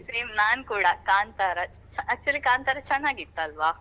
Same ನಾನ್ ಕೂಡಾ Kantara actually Kantara ಚನ್ನಾಗಿತ್ತಲ್ವಾ.